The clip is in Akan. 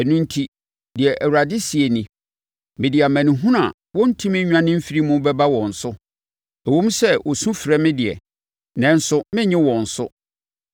Ɛno enti deɛ Awurade seɛ nie: ‘Mede amanehunu a wɔrentumi nnwane mfiri mu bɛba wɔn so. Ɛwom sɛ, wɔsufrɛ me deɛ, nanso merennye wɔn so.